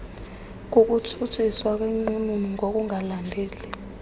kukutshutshiswa kwenqununu ngokungalandeli